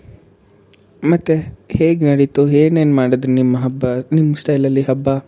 ಮತ್ತೆ ಹೇಗ್ ನಡೀತು ಏನೇನ್ ಮಾಡಿದ್ರಿ ನಿಮ್ ಹಬ್ಬ ನಿಮ್ style ಅಲ್ಲಿ ಹಬ್ಬ?